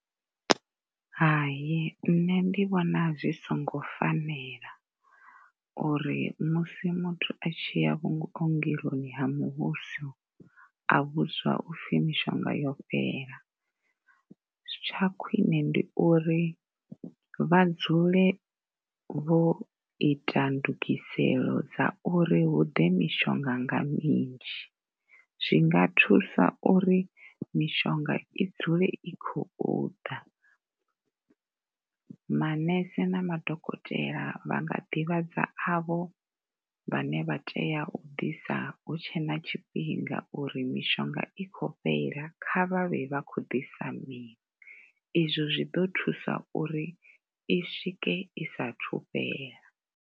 Hai, nṋe ndi vhona zwi songo fanela uri musi muthu a tshi ya vhuongeloni ha muvhuso a vhudzwa upfhi mishonga yo fhela. Tsha khwine ndi uri vha dzule vho ita ndugiselo dza uri hu ḓe mishonga nga minzhi zwi nga thusa uri mishonga i dzule i khou ḓa. Manese na madokotela vha nga ḓivhadza avho vhane vha tea u ḓisa hu tshe na tshifhinga uri mishonga i khou fhela, kha vha vhe vha khou ḓisa miṅwe. Izwo zwi ḓo thusa uri i swike i saathu fhela.